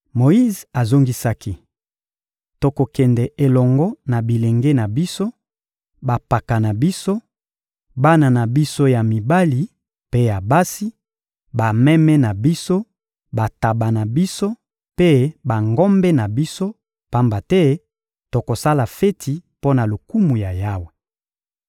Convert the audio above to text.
Moyize azongisaki: — Tokokende elongo na bilenge na biso, bampaka na biso, bana na biso ya mibali mpe ya basi, bameme na biso, bantaba na biso mpe bangombe na biso; pamba te tokosala feti mpo na lokumu ya Yawe.